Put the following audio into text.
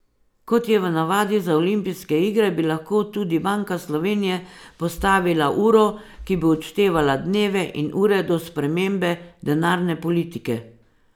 Kot je v navadi za olimpijske igre, bi lahko tudi Banka Slovenije postavila uro, ki bi odštevala dneve in ure do spremembe denarne politike.